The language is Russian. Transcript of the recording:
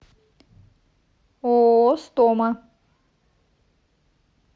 ооо стома